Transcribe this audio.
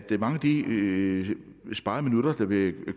de sparede minutter der vil